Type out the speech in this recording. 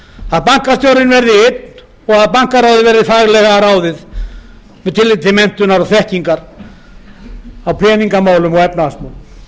að bankastjóri verði einn og bankaráð faglega ráðið með tilliti til menntunar og þekkingar á peninga og efnahagsmálum